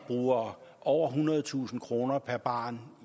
bruger over ethundredetusind kroner per barn